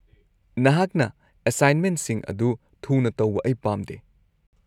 -ꯅꯍꯥꯛꯅ ꯑꯦꯁꯥꯏꯟꯃꯦꯟꯠꯁꯤꯡ ꯑꯗꯨ ꯊꯨꯅ ꯇꯧꯕ ꯑꯩ ꯄꯥꯝꯗꯦ꯫